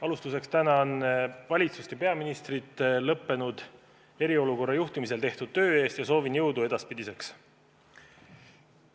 Alustuseks tänan valitsust ja peaministrit lõppenud eriolukorra juhtimisel tehtud töö eest ja soovin jõudu edaspidiseks.